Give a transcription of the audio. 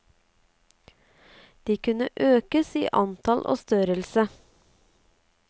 De kunne økes i antall og størrelse.